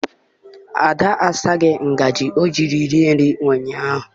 Ada asaghị ngazi o ji rie nri ụnyaahụ.